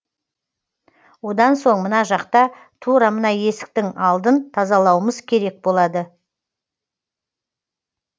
одан соң мына жақта тура мына есіктің алдын тазалауымыз керек болады